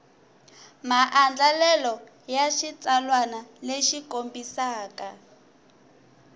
maandlalelo ya xitsalwana lexi kombisaka